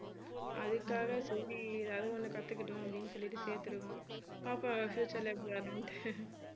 அதுக்காக சரி ஏதாவது ஒண்ணு கத்துக்கிட்டும் அப்படின்னு சொல்லிட்டு சேர்த்துருக்கோம் பாப்போம் future ல எப்படி வர்றான்னிட்டு